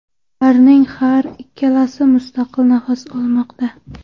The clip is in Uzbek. Ularning har ikkalasi mustaqil nafas olmoqda.